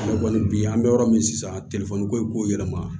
Kɔni bi an bɛ yɔrɔ min sisan ko yɛlɛma